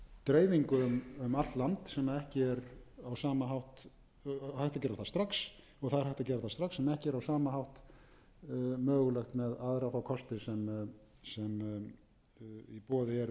dreifingu um allt land og það er hægt að gera það strax en ekki er á sama hátt mögulegt með aðra þá kosti sem í boði eru í þessum efnum